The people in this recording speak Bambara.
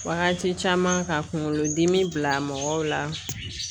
Wagati caman ka kunkolo dimi bila mɔgɔw la